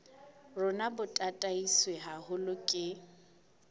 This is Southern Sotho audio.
rona bo tataiswe haholo ke